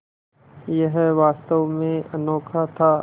यह वास्तव में अनोखा था